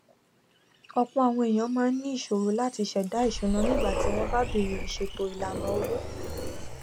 ọpọ àwọn èyàn máa ń ní ìṣòro láti sẹdá ìsúná nígbà tí wọn bá bẹrẹ ìṣètò ìlànà owó